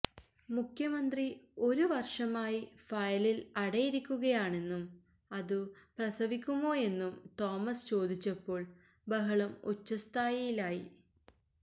മുഖ്യമന്ത്രി ഒരു വർഷമായി ഫയലിൽ അടയിരിക്കുകയാണെന്നും അതു പ്രസവിക്കുമോയെന്നും തോമസ് ചോദിച്ചപ്പോൾ ബഹളം ഉച്ചസ്ഥായിയിലായി